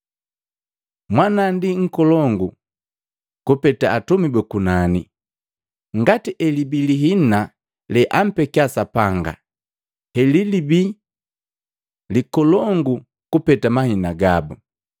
Mwana ndi nkolongu kupeta atumi buku nani, ngati elibii lihina leampekia Sapanga helibii likolongu kupeta mahina gabu.